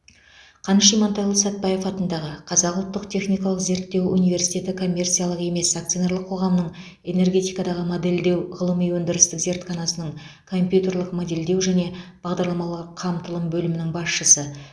қаныш имантайұлы сәтбаев атындағы қазақ ұлттық техникалық зерттеу университеті коммерциялық емес акционерлік қоғамының энергетикадағы модельдеу ғылыми өндірістік зертханасының компьютерлік модельдеу және бағдарламалық қамтылым бөлімінің басшысы